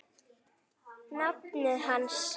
nafni hans.